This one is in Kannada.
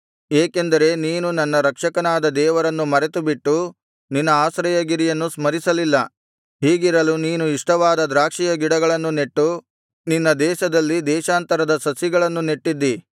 ಏಕೆಂದರೆ ನೀನು ನಿನ್ನ ರಕ್ಷಕನಾದ ದೇವರನ್ನು ಮರೆತುಬಿಟ್ಟು ನಿನ್ನ ಆಶ್ರಯಗಿರಿಯನ್ನು ಸ್ಮರಿಸಲಿಲ್ಲ ಹೀಗಿರಲು ನೀನು ಇಷ್ಟವಾದ ದ್ರಾಕ್ಷಿಯ ಗಿಡಗಳನ್ನು ನೆಟ್ಟು ನಿನ್ನ ದೇಶದಲ್ಲಿ ದೇಶಾಂತರದ ಸಸಿಗಳನ್ನು ನೆಟಿದ್ದಿ